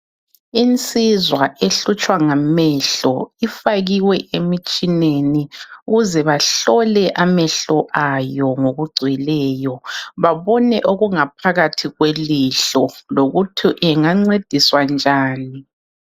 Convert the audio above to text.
Insizwa ehlutshwa ngamehlo ifakiwe emitshineni ukuze bahlole amehlo ayo ngokugcweleyo babone okungaphakathi kwelihlo lokuthi engancediswa njani.